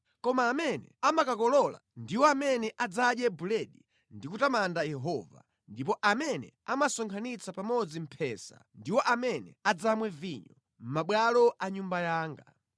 Koma amene amakakolola ndiwo amene adzadye buledi ndi kutamanda Yehova, ndipo amene amasonkhanitsa pamodzi mphesa ndiwo amene adzamwe vinyo mʼmabwalo a Nyumba yanga.”